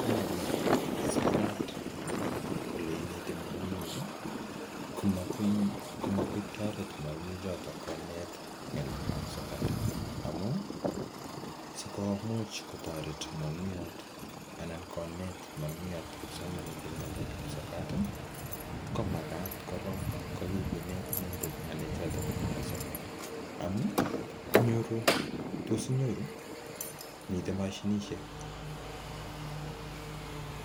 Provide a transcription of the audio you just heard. Komami sokat ele ineti mwalimuinik, komagoi kotoret mwalimuinik choto konet ng'alekab sokat, amaun sikomuch kotoret mwalimuyat anan konet mwalimuyat kipsomaninik en ng'alekab sokat ko magat korong kokiginet inendet ng'alekab sokat amun tos inyoru miten mashiisiek